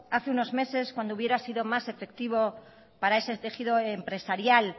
hace unos meses cuando hubiera sido más efectivo para ese tejido empresarial